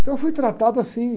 Então eu fui tratado assim.